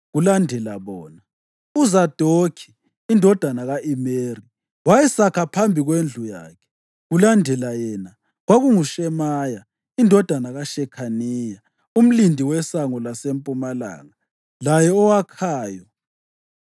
Kulandela bona, uZadokhi indodana ka-Imeri wayesakha phambi kwendlu yakhe. Kulandela yena, kwakunguShemaya indodana kaShekhaniya, umlindi weSango laseMpumalanga, laye owakhayo.